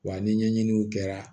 Wa ni ɲɛɲiniw kɛra